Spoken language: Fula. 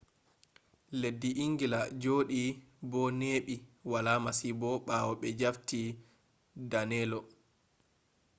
leddi ingila joɗi bo neɓi wala masibo ɓawo ɓe jafti danelo